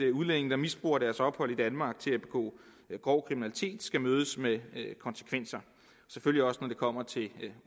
at udlændinge der misbruger deres ophold i danmark til at begå grov kriminalitet skal mødes med konsekvenser og selvfølgelig også når det kommer til